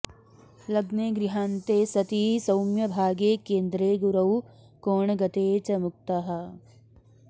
लग्ने गृहान्ते सति सौम्यभागे केन्द्रे गुरौ कोणगते च मुक्तः